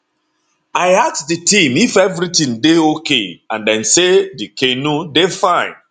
i ask di team if evritin dey ok and dem say di canoe dey fine